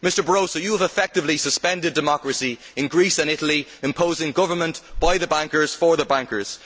Mr Barroso, you have effectively suspended democracy in Greece and Italy, imposing government by the bankers for the bankers.